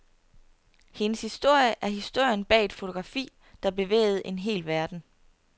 Hendes historie er historien bag et fotografi, der bevægede en hel verden.